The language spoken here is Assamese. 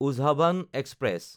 উজহাভান এক্সপ্ৰেছ